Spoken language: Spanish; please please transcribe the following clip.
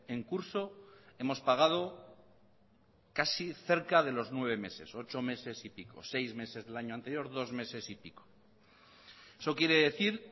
en curso hemos pagado casi cerca de los nueve meses ocho meses y pico seis meses del año anterior dos meses y pico eso quiere decir